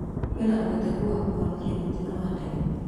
Kwĩna ũhotekeku wa kũhonoka mũtino wa ndege?